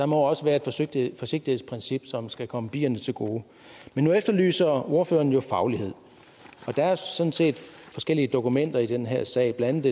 må også være et forsigtighedsprincip som skal komme bierne til gode men nu efterlyser ordføreren jo faglighed og der er sådan set forskellige dokumenter i den her sag blandt